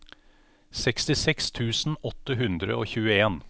sekstiseks tusen åtte hundre og tjueen